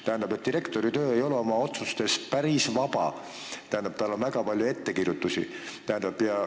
Tähendab, direktor ei ole oma otsustes päris vaba, talle on tehtud väga palju ettekirjutusi.